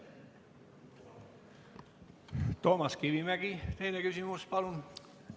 Toomas Kivimägi, teine küsimus, palun!